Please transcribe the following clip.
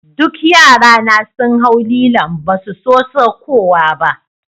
Dukan yra na sun hau lilon' ba su so saukowa ba.